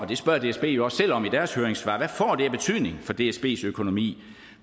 det spørger dsb jo også selv om i deres høringssvar af betydning for dsbs økonomi